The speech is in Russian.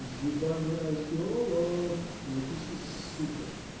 ебаный археолог напиши сука